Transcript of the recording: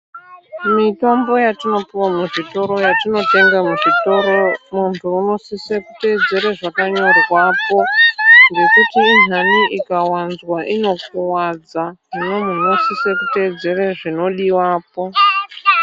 Mitombo yatinopiwa muzvitoro yatinotenga muzvitoro muntu unosise kuteedzere zvakanyorwapo ngekuti intani ikawanzwa inokuwadza. Hino muntu unosise kuteedzere zvinodiwepo.